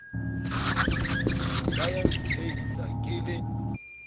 ba ya ntshehisa ke le